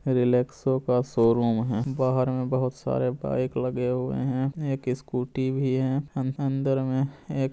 रिलेक्सो का शोरूम है बाहर में बहुत सारा बाइक लगे हुए हैं एक स्कूटी भी है अंदर में एक --